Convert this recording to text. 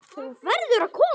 Þú verður að koma!